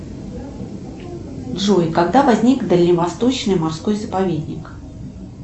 джой когда возник дальневосточный морской заповедник